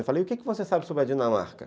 Eu falo, e o que você sabe sobre a Dinamarca?